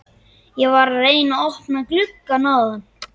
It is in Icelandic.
Ég var að reyna að opna gluggann áðan.